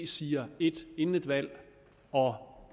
siger ét inden et valg og